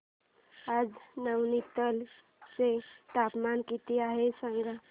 आज नैनीताल चे तापमान किती आहे सांगा